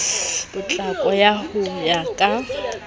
potlako ka ho ya ka